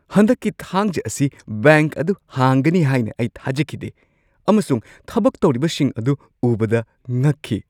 ꯍꯟꯗꯛꯀꯤ ꯊꯥꯡꯖꯥ ꯑꯁꯤ ꯕꯦꯡꯛ ꯑꯗꯨ ꯍꯥꯡꯒꯅꯤ ꯍꯥꯏꯅ ꯑꯩ ꯊꯥꯖꯈꯤꯗꯦ ꯑꯃꯁꯨꯡ ꯊꯕꯛ ꯇꯧꯔꯤꯕꯁꯤꯡ ꯑꯗꯨ ꯎꯕꯗ ꯉꯛꯈꯤ ꯫